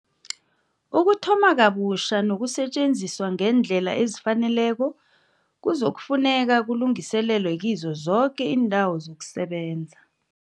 Ukuthoma kabutjha nokusetjenziswa ngeendlela ezifaneleko kuzofuneka kulungiselelwe kizo zoke iindawo zokusebenza.